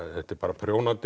þetta er bara